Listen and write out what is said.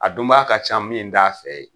A dunbaa ka ca min t'a fɛ ye